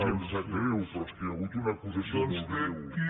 i em sap greu però és que hi ha hagut una acusació molt greu